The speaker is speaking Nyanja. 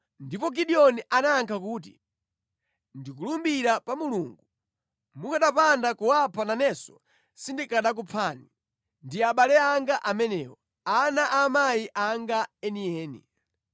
Ndipo Gideoni anayankha kuti, “Ndikulumbira pa Mulungu, mukanapanda kuwapha nanenso sindikanakuphani. Ndi abale anga amenewo, ana a amayi anga enieni.”